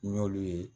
N y'olu ye